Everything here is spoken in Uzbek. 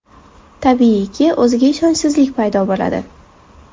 Tabiiyki, o‘ziga ishonchsizlik paydo bo‘ladi.